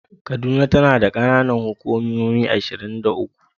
Kaduna tana da kananan hukumomi ashirin da uku.